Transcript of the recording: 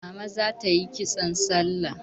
Mama za ta yi kitson salla.